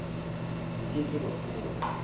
bo ke ke ba fola